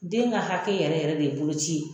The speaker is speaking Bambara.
Den ka hakɛ yɛrɛ yɛrɛ de ye bolo ci ye.